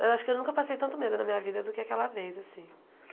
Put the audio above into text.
Acho que eu nunca passei tanto medo na minha vida do que aquela vez, assim.